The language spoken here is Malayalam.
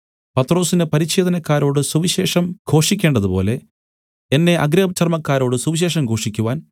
പത്രൊസിന് പരിച്ഛേദനക്കാരോട് സുവിശേഷം ഘോഷിക്കേണ്ടതുപോലെ എന്നെ അഗ്രചർമക്കാരോട് സുവിശേഷം ഘോഷിക്കുവാൻ